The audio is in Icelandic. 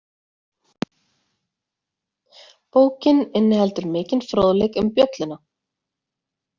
Bókin inniheldur mikinn fróðleik um Bjölluna.